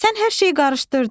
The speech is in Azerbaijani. Sən hər şeyi qarışdırdın.